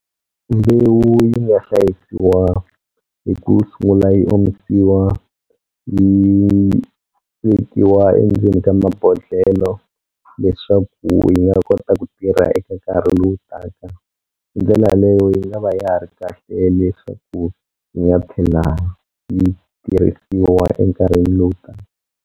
Mbewu yi nga hlayisiwa hi ku sungula yi omisiwa yi vekiwa endzeni ka mabodhlelo leswaku yi nga kota ku tirha eka nkarhi lowu taka hi ndlela yaleyo yi nga va ya ha ri kahle leswaku yi nga tlhela yi tirhisiwa enkarhini lowu taka.